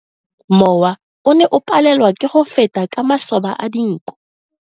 Mowa o ne o palelwa ke go feta ka masoba a dinko.